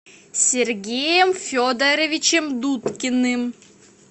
сергеем федоровичем дудкиным